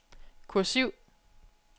kursiv